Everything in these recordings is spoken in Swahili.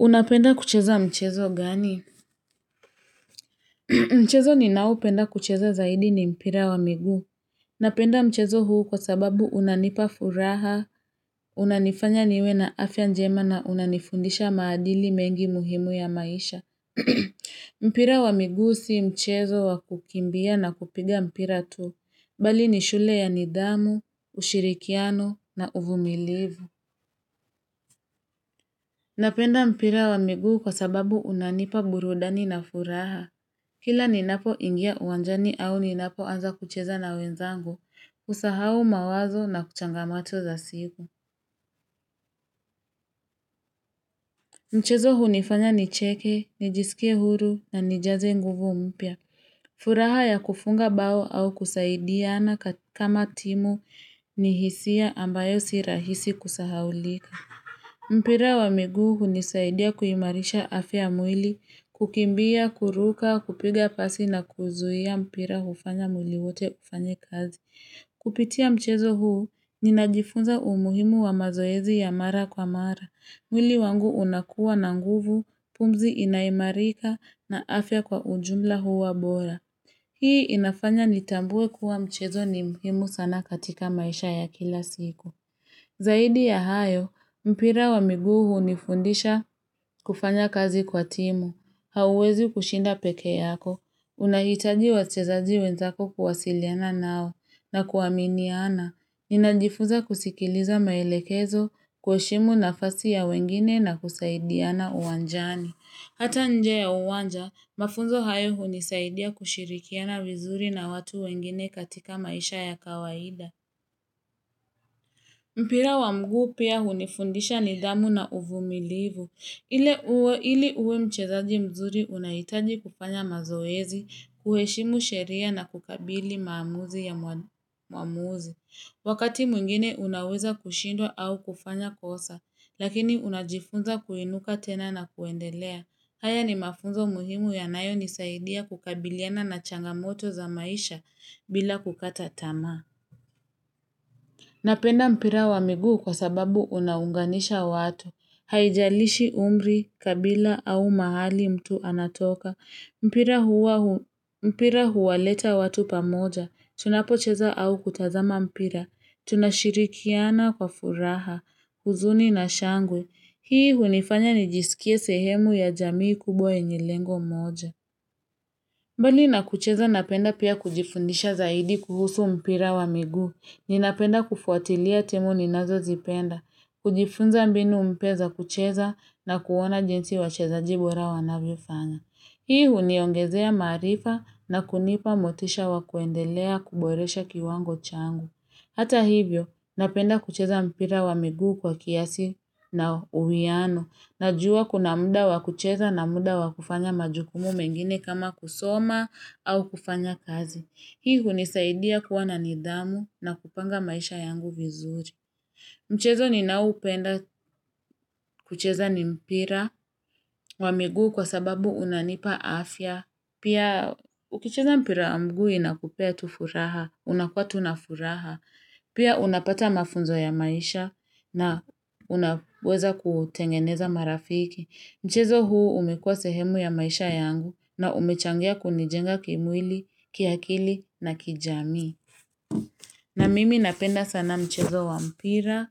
Unapenda kucheza mchezo gani? Mchezo ninao penda kucheza zaidi ni mpira wa mignuu. Napenda mchezo huu kwa sababu unanipa furaha, unanifanya niwe na afya njema na unanifundisha maadili mengi muhimu ya maisha. Mpira wa miguu si mchezo wa kukimbia na kupiga mpira tu. Bali ni shule ya nidhamu, ushirikiano na uvumilivu. Napenda mpira wa migu kwa sababu unanipa burudani na furaha. Kila ninapoingia wanjani au ninapoanza kucheza na wenzangu, husahau mawazo na kuchangamato za siku. Mchezo hunifanya ni cheke, nijisikie huru na nijaze nguvu mpya. Furaha ya kufunga bao au kusaidiana kama timu ni hisia ambayo si rahisi kusahaulika. Mpira wa miguu hunisaidia kuimarisha afya ya mwili, kukimbia, kuruka, kupiga pasi na kuzuhia mpira hufanya mwili wote ufanye kazi. Kupitia mchezo huu, ninajifunza umuhimu wa mazoezi ya mara kwa mara. Mwili wangu unakuwa na nguvu, pumzi inaimarika na afya kwa ujumla huwa bora. Hii inafanya nitambue kuwa mchezo ni mhimu sana katika maisha ya kila siku. Zaidi ya hayo, mpira wa miguu hunifundisha kufanya kazi kwa timu, hauezi kushinda peke yako, unahitaji wachezaji wenzako kuwasiliana nao na kuwaminiana, ninajifuza kusikiliza maelekezo kuheshimu nafasi ya wengine na kusaidiana uwanjani. Hata nje ya uwanja, mafunzo hayo hunisaidia kushirikiana vizuri na watu wengine katika maisha ya kawaida. Mpira wa mguu pia hunifundisha nidhamu na uvumilivu. Ili uwe mchezaji mzuri unaitaji kufanya mazoezi, kuheshimu sheria na kukabili maamuzi ya mwamuzi. Wakati mwingine unaweza kushindwa au kufanya kosa, lakini unajifunza kuinuka tena na kuendelea. Haya ni mafunzo muhimu yanayo nisaidia kukabiliana na changamoto za maisha bila kukata tamaa. Napenda mpira wa miguu kwa sababu unaunganisha watu, haijalishi umri, kabila au mahali mtu anatoka, mpira huwaleta watu pamoja, tunapocheza au kutazama mpira, tunashirikiana kwa furaha, huzuni na shangwe, hii hunifanya nijisikie sehemu ya jamii kubwa yenye lengo moja. Mbali na kucheza napenda pia kujifundisha zaidi kuhusu mpira wa miguu, ninapenda kufuatilia timu ninazo zipenda, kujifunza mbinu mpya za kucheza na kuona jinsi wachezaji bora wanavyo fanya. Hii huniongezea maarifa na kunipa motisha wakuendelea kuboresha kiwango changu. Hata hivyo, napenda kucheza mpira wa miguu kwa kiasi na uwiano. Najua kuna muda wa kucheza na muda wa kufanya majukumu mengine kama kusoma au kufanya kazi. Hii hunisaidia kuwa na nidhamu na kupanga maisha yangu vizuri. Mchezo ninao upenda kucheza ni mpira wa miguu kwa sababu unanipa afya. Pia ukicheza mpira wa miguu inakupea tu furaha, unakua tu nafuraha. Pia unapata mafunzo ya maisha na unaweza kutengeneza marafiki. Mchezo huu umekuwa sehemu ya maisha yangu na umechangia kunijenga kimwili, kiakili na kijamii. Na mimi napenda sana mchezo wa mpira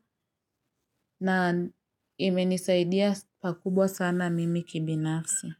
na imenisaidia pakubwa sana mimi kibinafsi.